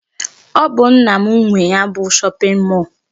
Ọ bụ nna m nwe ya bụ shopping mall.